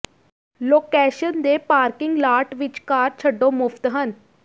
location ਦੇ parking lot ਵਿੱਚ car ਛੱਡੋ ਮੁਫ਼ਤ ਹਨ